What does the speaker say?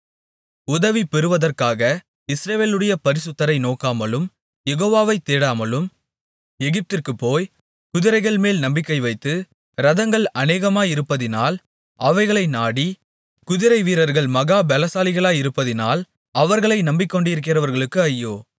உதவி பெறுவதற்காக இஸ்ரவேலுடைய பரிசுத்தரை நோக்காமலும் யெகோவாவை தேடாமலும் எகிப்திற்குப்போய் குதிரைகள்மேல் நம்பிக்கைவைத்து இரதங்கள் அநேகமாயிருப்பதினால் அவைகளை நாடி குதிரைவீரர்கள் மகா பெலசாலிகளாயிருப்பதினால் அவர்களை நம்பிக்கொண்டிருக்கிறவர்களுக்கு ஐயோ